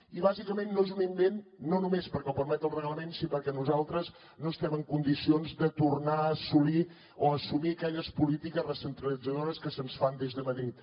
i bàsicament no és un invent no només perquè ho permet el reglament sinó perquè nosaltres no estem en condicions de tornar a assolir o a assumir aquelles polítiques recentralitzadores que se’ns fan des de madrid